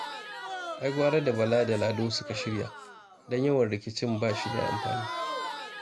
Ai gwara da Bala da Lado suka shirya, don yawan rikicin ba shi da amfani